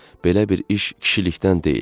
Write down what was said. Belə bir iş kişilikdən deyil.